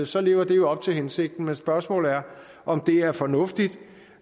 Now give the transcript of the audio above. så lever det jo op til hensigten men spørgsmålet er om det er fornuftigt